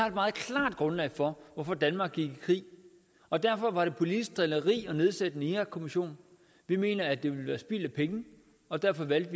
et meget klart grundlag for hvorfor danmark gik i krig og derfor var det politisk drilleri at nedsætte en irakkommission vi mener at det var spild af penge og derfor valgte